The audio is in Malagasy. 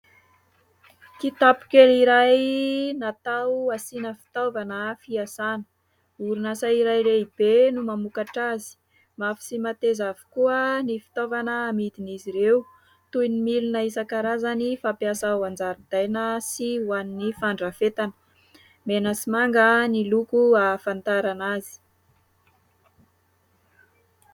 Kitapo kely iray natao asiana fitaovana fiasana ; orinasa iray lehibe no mamokatra azy mafy sy mateza avokoa ny fitaovana amidin'izy ireo toy ny milina isankarazany fampiasa ao anjaridaina sy ho an'ny fandrafetana, mena sy manga ny loko ahafantarana azy.